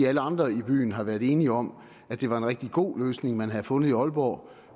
andre i byen har været enige om at det var en rigtig god løsning man havde fundet i aalborg